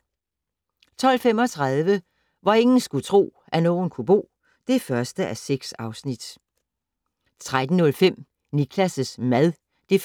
12:35: Hvor ingen skulle tro, at nogen kunne bo (1:6) 13:05: Niklas' mad (1:8)